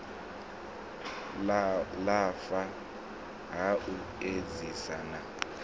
lafha ha u edzisa na